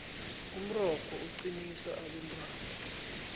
umrorho uqinisa abentwana